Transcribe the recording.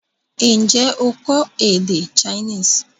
N jẹ́ o kọ́ èdè Chinese?